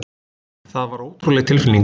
Það var ótrúleg tilfinning.